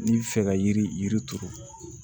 N'i bi fɛ ka yiri turu